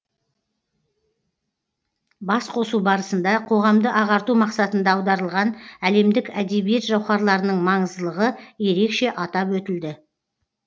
басқосу барысында қоғамды ағарту мақсатында аударылған әлемдік әдебиет жауһарларының маңыздылығы ерекше атап өтілді